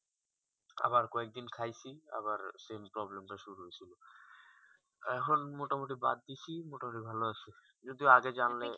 আবার কয়েক দিন খাইছি আবার same problem তা শুরু হয়েছিল এখন মোটা মতি বাদ দিচ্ছি মোটা মতি ভালো আছি যদিও আগে জানলে